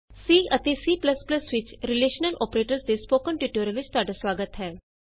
C ਅਤੇ C ਵਿਚ relational operators ਦੇ ਸਪੋਕਨ ਟਯੂਟੋਰਿਅਲ ਵਿਚ ਤੁਹਾਡਾ ਸੁਆਗਤ ਹੈ